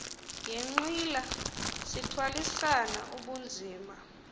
yenqila sithwalisana ubunzima